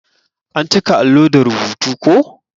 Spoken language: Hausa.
An cika allo da rubutu ko.